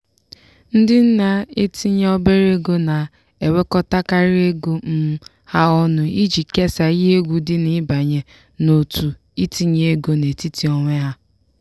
ndị na-etinye obere ego na-ewekọtakarị ego um ha ọnụ iji kesaa ihe egwu dị n'ịbanye n'òtù itinye ego n'etiti onwe ha.